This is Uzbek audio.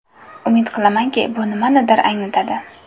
Umid qilamanki, bu nimanidir anglatadi.